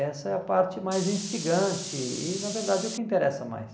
Essa é a parte mais instigante e, na verdade, é o que interessa mais.